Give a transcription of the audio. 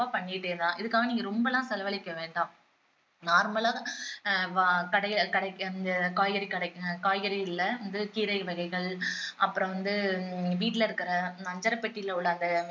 இதுக்காக நீங்க ரொம்ப எல்லாம் செலவழிக்கவேண்டாம் normal ஆ ஆஹ் கடையில கடைக்கு அந்த காய்கறி கடைக்கு காய்கறி கீரை வகைகள் அப்பறம் வந்து வீட்டுல இருக்கிற அஞ்சறை பெட்டில உள்ள அந்த